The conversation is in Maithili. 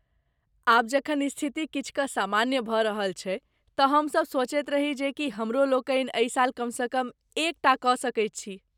आब जखन स्थिति किछु कऽ सामान्य भऽ रहल छै, तँ हमसब सोचैत रही जे की हमरालोकनि एहि साल कमसँ कम एकटा कऽ सकैत छी।